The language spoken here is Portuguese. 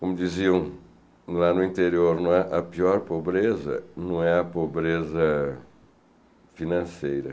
Como diziam lá no interior não é, a pior pobreza não é a pobreza financeira.